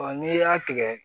n'i y'a tigɛ